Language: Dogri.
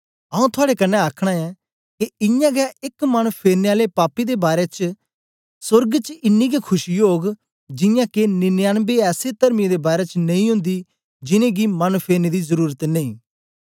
आऊँ थुआड़े कन्ने आखना ऐं के इयां गै एक मन फेरने आले पापी दे बारै च बी सोर्ग च इनी गै खुशी ओग जियां के निन्यानबे ऐसे तर्मियें दे बारै च नेई ओंदी जिन्नें गी मन फेरने दी जरुरत नेई